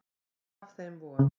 Gaf þeim von.